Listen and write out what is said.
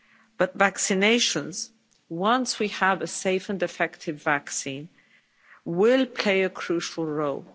But vaccinations, once we have a safe and effective vaccine, will play a crucial role.